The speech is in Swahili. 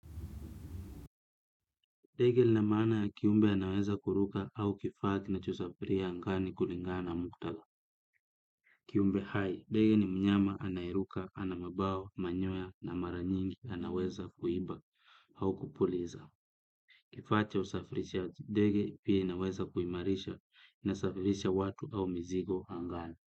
Dege linamaana ya kiumbe anaweza kuruka au kifaa kinacho safiria ngani kulingana mkutala. Kiumbe hai, dege ni mnyama anaeruka, ana mabawa manyoya na maranyingi anaweza kuiba au kupuliza. Kifaa cha usafirisha, dege pia inaweza kuimarisha na safirisha watu au mizigo angani.